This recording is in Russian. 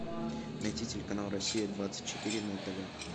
найти телеканал россия двадцать четыре на тв